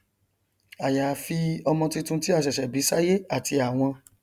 àyàfi ọmọ tuntun tí a ṣẹṣẹ bí sáyé àti àwọn